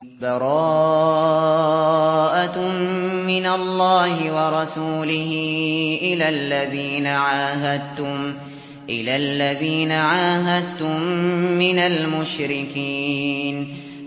بَرَاءَةٌ مِّنَ اللَّهِ وَرَسُولِهِ إِلَى الَّذِينَ عَاهَدتُّم مِّنَ الْمُشْرِكِينَ